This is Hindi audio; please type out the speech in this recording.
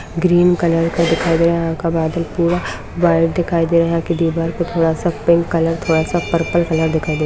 ग्रीन कलर का दिखाई दे रहा है यहाँ का बादल पूरा व्हाइट दिखाई दे रहा है यहाँ की दीवार पर थोड़ा-सा पिंक कलर थोड़ा-सा पर्पल कलर दिखाई दे --